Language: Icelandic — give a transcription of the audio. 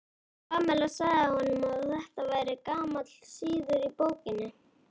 Pamela sagði honum að þetta væri gamall siður í borginni.